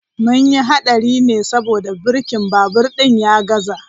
Mun yi hadari ne saboda birkin babur din ya gaza.